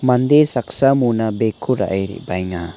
mande saksa mona bag -ko ra·e re·baenga.